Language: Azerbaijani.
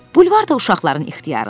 Bulvar da uşaqların ixtiyarındadır.